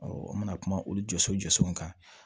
n mana kuma olu jɔso jɔso kan